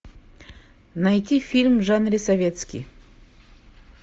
найти фильм в жанре советский